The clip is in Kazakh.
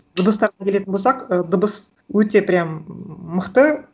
дыбыстарға келетін болсақ і дыбыс өте прям мықты